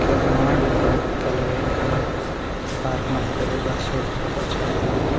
ಕೆಲಮಾಡೊ ಕೆಲವೈಕ್‌ ಪಾರ್ಕ್‌ ಮಲ್ಪೆರೆ ಬರ್ಸಡ್‌ ಪೂರ ಬಚವಾಯರೆ.